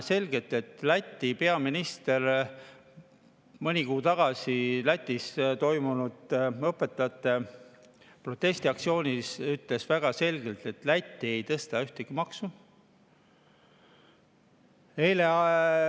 Läti peaminister mõni kuu tagasi Lätis toimunud õpetajate protestiaktsiooni peale ütles väga selgelt, et Läti ei tõsta ühtegi maksu.